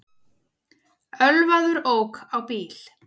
Ölvaður ók á bíl